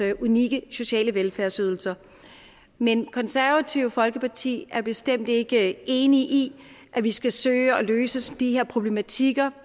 unikke sociale velfærdsydelser men konservative folkeparti er bestemt ikke enig i at vi skal søge at løse de her problematikker